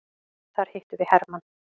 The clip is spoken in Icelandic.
Þar hittum við hermann.